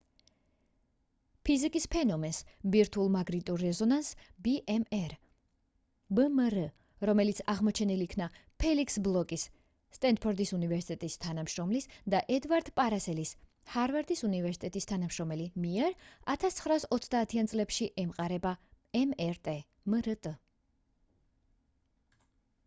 ფიზიკის ფენომენს ბირთვულ მაგნიტურ რეზონანსს ბმრ რომელიც აღმოჩენილ იქნა ფელიქს ბლოკის სტენფორდის უნივერსიტეტის თანამშრომლის და ედვარდ პარსელის ჰარვარდის უნივერსიტეტის თანამშრომელი მიერ 1930-იან წლებში ემყარება მრტ